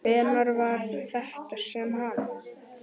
Hvenær var þetta sem hann.